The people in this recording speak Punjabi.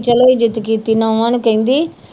ਚੱਲ ਇੱਜਤ ਕੀਤੀ ਨਹੁੰਆਂ ਨੂੰ ਕਹਿੰਦੀ